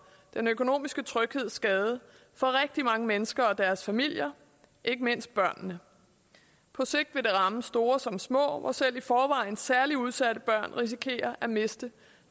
den økonomiske tryghed skadet for rigtig mange mennesker og deres familier ikke mindst børnene på sigt vil det ramme store som små hvor selv i forvejen særligt udsatte børn risikerer at miste